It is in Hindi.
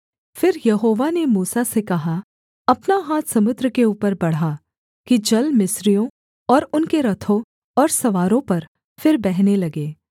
फिर यहोवा ने मूसा से कहा अपना हाथ समुद्र के ऊपर बढ़ा कि जल मिस्रियों और उनके रथों और सवारों पर फिर बहने लगे